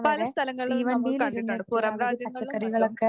പല സ്ഥലങ്ങളിലും നമ്മൾ കണ്ടിട്ടുണ്ട് പുറം രാജ്യങ്ങളിലും മറ്റും